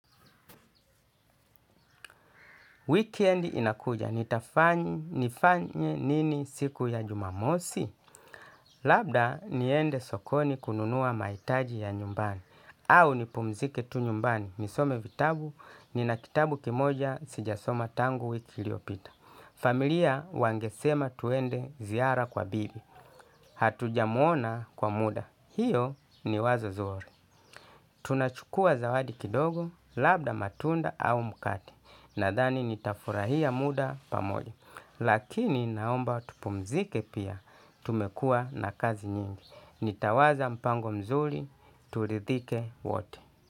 Weekend inakuja. Nifanye nini siku ya jumamosi? Labda niende sokoni kununua mahitaji ya nyumbani. Au nipumzike tu nyumbani. Nisome vitabu, nina kitabu kimoja sijasoma tangu wiki iliopita. Familia wangesema twende ziara kwa bibi. Hatuja muona kwa muda. Hiyo ni wazo zuri. Tunachukua zawadi kidogo, labda matunda au mkate. Nadhani nitafurahia muda pamoja. Lakini naomba tupumzike pia tumekua na kazi nyingi. Nitawaza mpango mzuri, tutidhike wate.